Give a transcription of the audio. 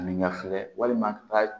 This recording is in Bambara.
N ɲɛ filɛ walima taa